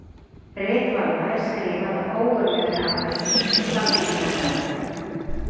Rit Valla er skrifað af ógurlegri andagift og sannfæringarkrafti.